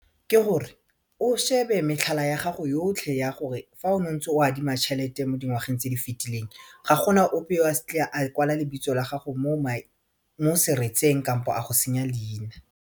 Ke gore o shebe metlhala ya gago yotlhe ya gore fa o ntse o adima tšhelete mo dingwageng tse di fetileng ga gona ope o a kwala lebitso la gago mo seretseng kampo a go senya leina.